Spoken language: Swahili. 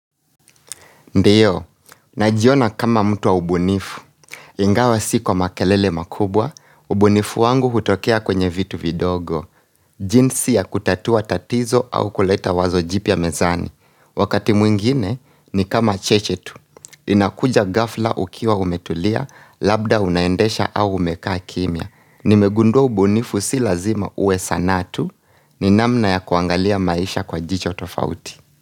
Ndio, ninajiona kama mtu wa ubunifu. Ingawa si kwa makelele makubwa, ubunifu wangu hutokea kwenye vitu vidogo. Jinsi ya kutatua tatizo au kuleta wazo jipya mezani. Wakati mwingine ni kama cheche tu. Inakuja ghafla ukiwa umetulia, labda unaendesha au umekaa kimia. Nimegundua ubunifu si lazima uwe sanaa tu, ni namna ya kuangalia maisha kwa jicho tofauti.